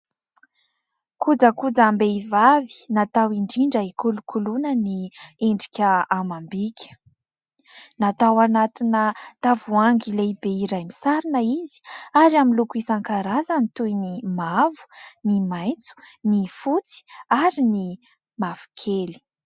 Kojakojam-behivavy natao indrindra ikolokoloana ny endrika amam-bika. Natao anatina tavoahangy lehibe iray misarona izy ; ary amin'ny loko isankarazany toy : ny mavo, ny maitso, ny fotsy, ary ny mavokely.